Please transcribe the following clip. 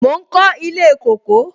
Mo ń kọ ilé kóko